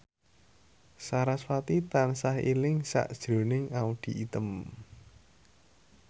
sarasvati tansah eling sakjroning Audy Item